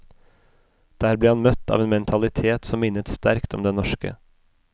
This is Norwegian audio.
Der ble han møtt av en mentalitet som minnet sterkt om den norske.